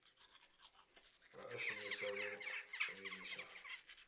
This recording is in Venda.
vha a shumisa o vhiliswa